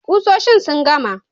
Kusoshin sun gama.